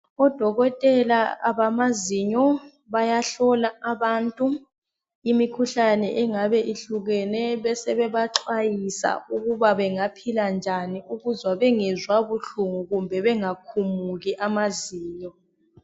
Odokotela abamazinyo bayahlola abantu imikhuhlane engabe ihlukene besebeba xwayisa ukuba bengaphila njani ukuze bengezwa buhlungu kumbe bengakhumuki amazinyo.